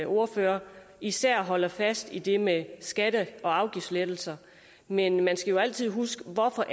ordfører især holder fast i det med skatte og afgiftslettelser men man skal jo altså huske på hvorfor